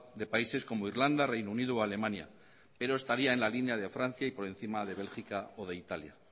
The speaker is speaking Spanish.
de países como irlanda reino unido o alemania pero estaría en la línea de francia y por encima de bélgica o de italia